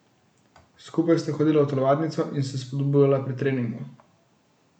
Skupaj sta hodila v telovadnico in se spodbujala pri treningu.